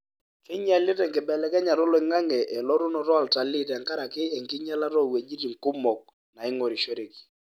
keinyialita enkibelekenyata oloingange oltunoto oltalii tengaraki enkinyialata owejitin kumok naingorishore.